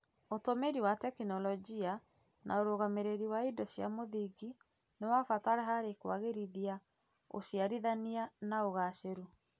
ũtũmĩri wa tekinoronjĩ, na ũrũgamĩrĩri wa indo cia mũthingi nĩ wa bata harĩ kũagĩrithia ũciarithania na ũgacĩru.